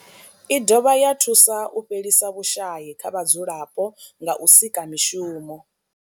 I dovha ya thusa u fhelisa vhushayi kha vhadzulapo nga u sika mishumo.